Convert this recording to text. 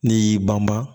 N'i y'i banba